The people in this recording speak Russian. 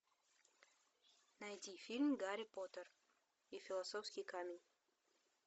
найти фильм гарри поттер и философский камень